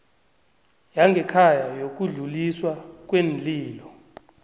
yangekhaya yokudluliswa kweenlilo